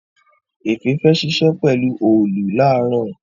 Efe fè ṣiṣẹ pelu Òòlù laaro.